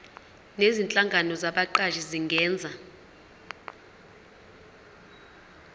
nezinhlangano zabaqashi zingenza